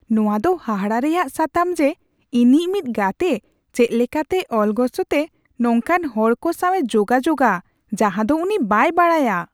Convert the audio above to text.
ᱱᱚᱶᱟ ᱫᱚ ᱦᱟᱦᱟᱲᱟ ᱨᱮᱭᱟᱜ ᱥᱟᱛᱟᱢ ᱡᱮ, ᱤᱧᱤᱡ ᱢᱤᱫ ᱜᱟᱛᱮ ᱪᱮᱫ ᱞᱮᱠᱟᱛᱮ ᱚᱞᱜᱚᱥᱛᱮ ᱱᱚᱝᱠᱟᱱ ᱦᱚᱲ ᱠᱚ ᱥᱟᱶᱮ ᱡᱳᱜᱟᱡᱳᱜᱽᱼᱟ ᱡᱟᱦᱟᱸ ᱫᱚ ᱩᱱᱤ ᱵᱟᱭ ᱵᱟᱰᱟᱭᱼᱟ ᱾